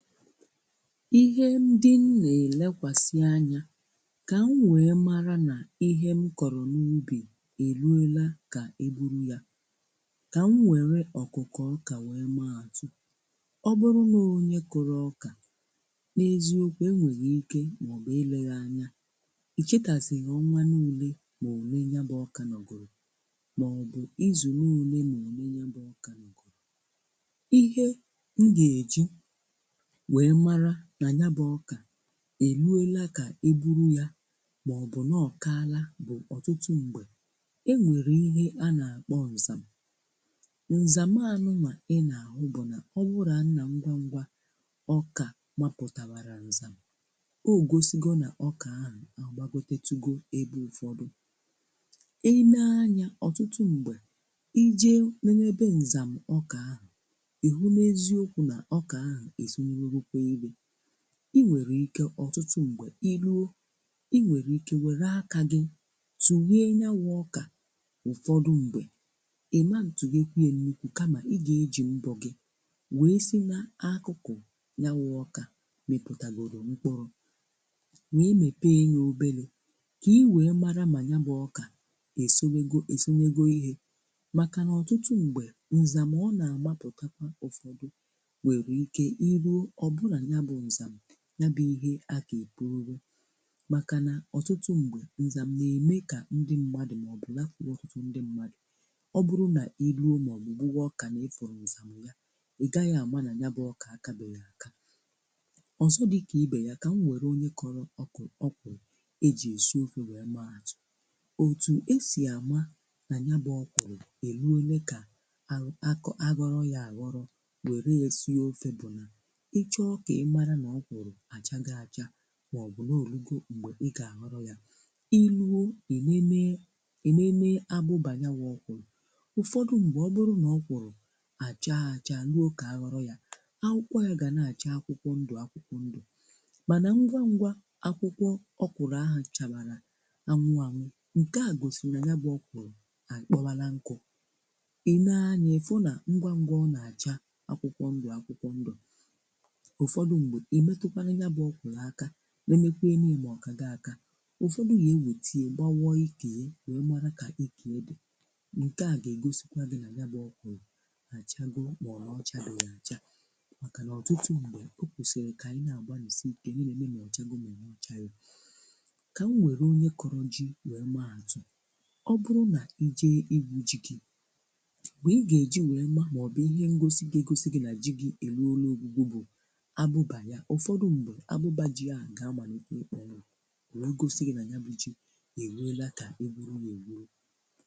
Ihe ndị m na-elekwasi anya ka m wee mara na ihe m kọrọ n'ubi eruola ka e bụrụ ya, ka m were okụkụ ọkà were maa atụ. Ọ bụrụ na ọ bu onye kụru ọkà, n'ezi okwu enwere ike maọbu eleghi anya icheta zi ọnwa na ole na ole ya bu ọkà nogoro mabou izuna ole ole ya bu ọkà nogoro, ihe m ga eji wee mara na ya bu ọkà eruola ka e bụrụ ya maọbu na ọ kaala, otútu mgbe enwere ihe a na-akpọ nzam. Nzam I na- ahụ bu na owura na ngwa ngwa ọkà maputawara nzam ogosigo na ọkà ahụ agbagolitere ebe ụfọdụ ile anya ọtụtụ mgbe ije lelee ebe nzam ọkà ahụ ezolitewego ihe ọtụtụ mgbe I ruo inwere ike were aka gị tuhee ya bú ọkà, ụfọdụ mgbe I ma ntuhiekwa n'irụ kama ịga eji mbọ gị wee si n'akụkụ ya bu ọkà miputagoro mkpụrụ wee mepee ya obere ka I wee mara ma ya bu ọkà osonygo ihe. Maka na ọtụtụ mgbe nzam ọ na -agbaputa nwere ike I ruo ọ bụrụ na ya bu nzam ya bu ihe a ga-ebuuru maka na ọtụtụ mgbe nzam na-eme ka ndị mmadụ maọbu lafuo ọtụtụ ndị mmadụ. Ọ bụrụ na i ruo maọbu gbuwaa ọkà na ifuru nzam ya I gaghi ama na ya bu ọkà akabeghi aka. Ọzọ dịka ibe ya bu ka m were onye kụrụ okro eji esi ofe. Otu esi ama na ya bu okro eruole ka aghoro ya aghoro were ya sie ofe bu na, ịchọo ka I mara na okro achago acha maọbu na ọ rugo mgbe I ga-aghoro ya I rụọ, ịlele abụba ya bu ọkwụrụ ụfọdụ mgbe o bụrụ na ya bu ọkwụrụ a chaa achaa ruo ka a aghoro ya akwụkwọ ya ga na- acha akwụkwọ ndụ akwụkwọ ndụ, mànà ngwa ngwa akwụkwọ ọkwụrụ ahụ chábara anwụ anwụ nke a gosiri na ya bu ọkwụrụ akpowala nkụ I lee anya ifu na ngwa ngwa ọ na -acha akwụkwọ ndụ akwụkwọ ndụ. Ufọdụ mgbe imetu kwanu ya bu ọkwụrụ aka lekwenu ya ma Okago aka, ụfọdụ na-ewete ya gbawa ike ya wee mara ka ike ya di nke a na-egosi na ya bu ọkwụrụ ocha go ma ọ na ochabeghi .Maka na ọtụtụ mgbe o kwesịrị ka anyị na agbalisi ike na-ele ma ọ chaala ma ọ chagi ka m were onye kụrụ ji were maa atụ. O bụrụ na ije ikwu ji gị mgbe I ga eji wee mara maọbu ihe ngosi ga- egosi na ji ahú eruole ọgwụgwụ bu abụba ya, ụfọdụ mgbe abụba ji ahú ga amalite ikponwu wee gosi gi na ya bu ji eruola ka e rie ya e rie.